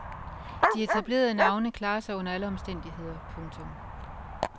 De etablerede navne klarer sig under alle omstændigheder. punktum